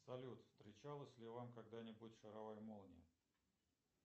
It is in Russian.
салют встречалась ли вам когда нибудь шаровая молния